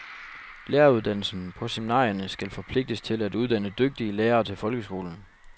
Læreruddannelsen på seminarierne skal forpligtes til at uddanne dygtige lærere til folkeskolen.